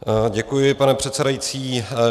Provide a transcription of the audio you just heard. Děkuji, pane předsedající.